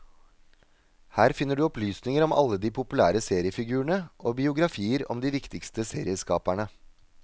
Her finner du opplysninger om alle de populære seriefigurene, og biografier om de viktigste serieskaperne.